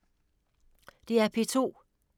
DR P2